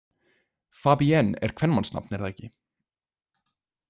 Fabienne er kvenmannsnafn, er það ekki?